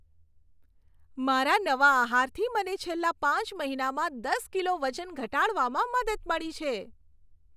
મારા નવા આહારથી મને છેલ્લા પાંચ મહિનામાં દસ કિલો વજન ઘટાડવામાં મદદ મળી છે.